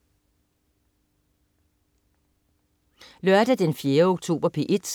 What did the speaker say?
Lørdag den 4. oktober - P1: